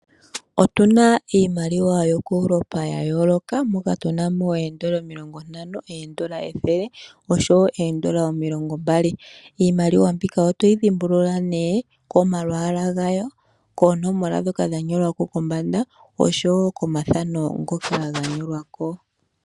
Otuna iimaliwa yokuEuropa ya yoolokothana mokatuna mo oondola ethele, oondola omilongo ntano oshowo oondola omulogo mbali. Iimaliwa mbika otoyi dhimbulula komalwalwa gawo noshowo koonomola ndhoka dha nyolwako.